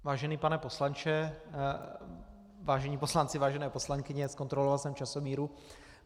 Vážený pane poslanče, vážení poslanci, vážené poslankyně, zkontroloval jsem časomíru.